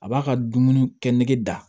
A b'a ka dumuni kɛ nege da